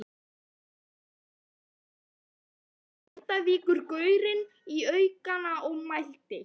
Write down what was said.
Við þau orð færðist Grindvíkingurinn í aukana og mælti